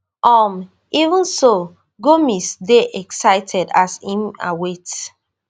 um even so gomis dey excited as im await